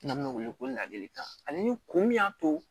N'an bɛ wele ko ladilikan ani kun min y'a to